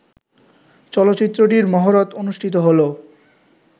চলচ্চিত্রটির মহরত অনুষ্ঠিত হলো